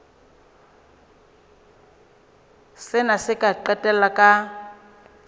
sena se ka qetella ka